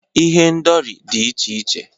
Ihendori dị iche iche